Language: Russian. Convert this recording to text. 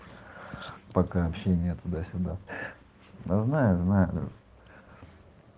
пока общение туда-сюда да знаю знаю